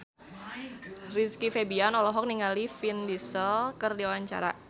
Rizky Febian olohok ningali Vin Diesel keur diwawancara